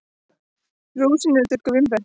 Rúsínur eru þurrkuð vínber.